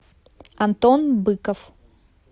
антон быков